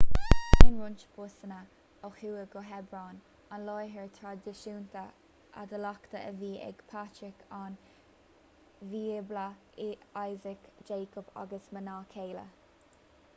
téann roinnt busanna ó thuaidh go hebron an láthair thraidisiúnta adhlactha a bhí ag patrairc an bhíobla isaac jacob agus a mná céile